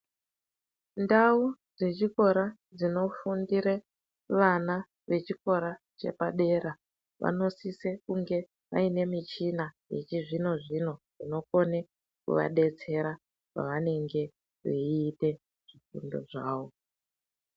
Ndau dzechikora dzinofundire vana vechikora chepadera ,vanosise kunge vaine michina yechizvino-zvino inokone kuvadetsera pavanenge veiite zvifundo zvavo.